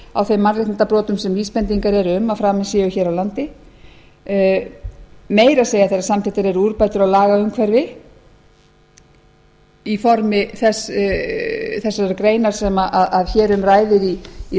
á þeim mannréttindabrotum sem vísbendingar eru um að framin séu hér á landi meira að segja þegar samþykktar eru úrbætur á lagaumhverfi í formi þessara greina sem hér um ræðir í